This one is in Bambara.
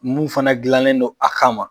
Mun fana gilannen don a ka ma.